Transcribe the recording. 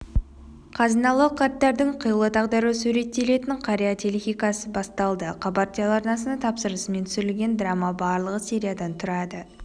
қазыналы қарттардың қилы тағдыры суреттелетін қария телехикаясы басталды хабар телеарнасының тапсырысымен түсірілген драма барлығы сериядан тұрады